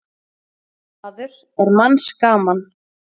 Maður er manns gaman.